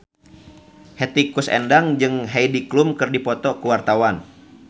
Hetty Koes Endang jeung Heidi Klum keur dipoto ku wartawan